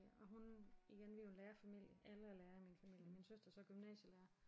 Ja og hun igen vi er jo en lærerfamilie alle er lærere i min familie min søster er så gymnasielærer